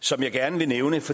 som jeg gerne vil nævne for